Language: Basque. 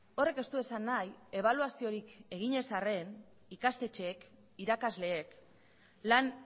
horrek ez du esan nahi ebaluaziorik egin ez arren ikastetxeek irakasleek lan